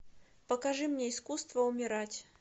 покажи мне искусство умирать